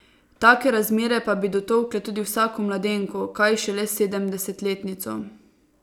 Take razmere pa bi dotolkle tudi vsako mladenko, kaj šele sedemdesetletnico.